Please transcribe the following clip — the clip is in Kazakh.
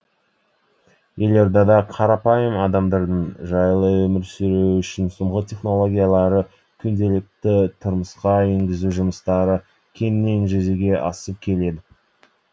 елордада қарапайым адамдардың жайлы өмір сүруі үшін соңғы технологиялары күнделікті тұрмысқа енгізу жұмыстары кеңінен жүзеге асып келеді